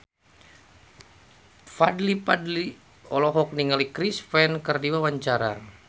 Fadly Padi olohok ningali Chris Pane keur diwawancara